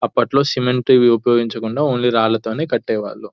అప్పట్లో సిమెంట్ ఏమి ఉపయోగించకుండా రాళ్లతో కట్టేవారు.